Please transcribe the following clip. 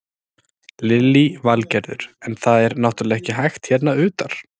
Lillý Valgerður: En það er náttúrulega ekki hægt hérna utar?